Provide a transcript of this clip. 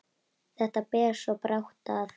Þetta ber svo brátt að.